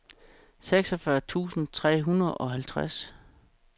seksogfyrre tusind tre hundrede og halvtreds